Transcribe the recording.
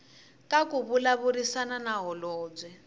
ka ku vulavurisana na holobye